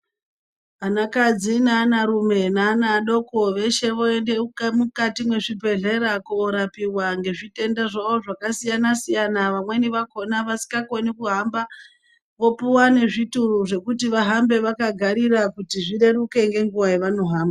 Anakadzi neanarume neanaadoko veshe voende mukati mwezvibhedhlera korapiva ngezvitendazvavo zvakasiyana-siyana. Vamweni vakona vasikakoni kuhamba vopuva nezvituru zvekuti vahambe vakagarira kuti zvireruke ngenguva yavanohamba.